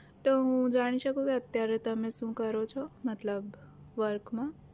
તો હું જાણી શકું કે અત્યારે તમે શું કરો છો મતલબ work માં?